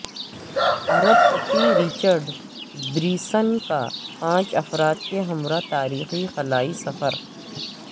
ارب پتی Richard Branson کا پانچ افراد کے ہمراہ تاریخی خلائی سفر